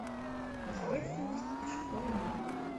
посредственность из школы магов